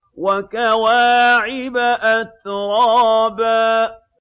وَكَوَاعِبَ أَتْرَابًا